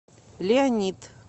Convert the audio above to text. леонид